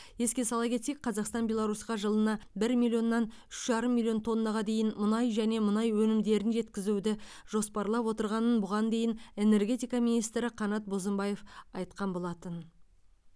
еске сала кетсек қазақстан беларусьқа жылына бір миллионнан үш жарым миллион тоннаға дейін мұнай және мұнай өнімдерін жеткізуді жоспарлап отырғанын бұған дейін энергетика министрі қанат бозымбаев айтқан болатын